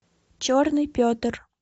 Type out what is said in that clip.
черный петр